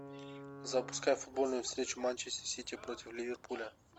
запускай футбольную встречу манчестер сити против ливерпуля